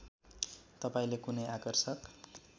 तपाईँले कुनै आकर्षक